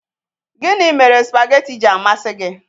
Gịnị mere spageetí ji amasị gị?